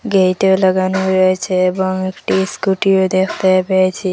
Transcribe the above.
গেইটও লাগানো রয়েছে এবং একটি স্কুটিও দেখতে পেয়েছি।